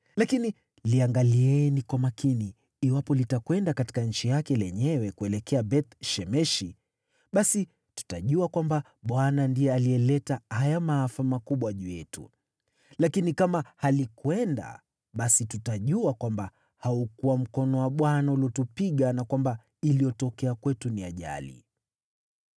lakini liangalieni kwa makini. Iwapo litakwenda katika nchi yake lenyewe, kuelekea Beth-Shemeshi, basi tutajua kwamba Bwana ndiye alileta haya maafa makubwa juu yetu. Lakini kama halikwenda, basi tutajua kwamba haukuwa mkono wa Bwana uliotupiga na kwamba iliyotokea kwetu ni ajali.”